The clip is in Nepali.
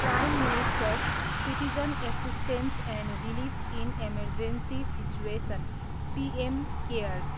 prime ministers citizen assistance and relief in emergency situation, PM cares